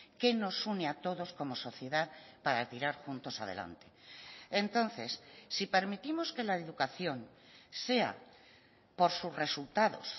que nos une a todos como sociedad para tirar juntos adelante entonces si permitimos que la educación sea por sus resultados